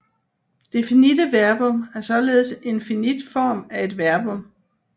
Det finitte verbum er således en finit form af et verbum